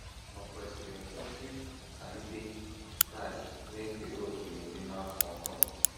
Ò Kwesịrị Ekwesị Ka Ndị Kraịst Na - ekere Òkè n’Ememe Afọ Ọhụrụ?